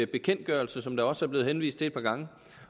bekendtgørelse som der også er blevet henvist til et par gange